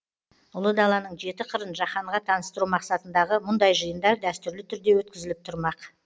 ұлы даланың жеті қырын жаһанға таныстыру мақсатындағы мұндай жиындар дәстүрлі түрде өткізіліп тұрмақ